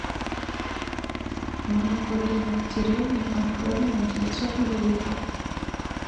молоко домик в деревне отборное девятьсот миллилитров